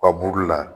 Ka buru la